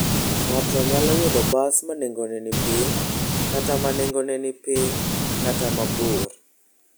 Ng'ato nyalo yudo bas ma nengone ni piny, kata ma nengone ni piny, kata ma bor.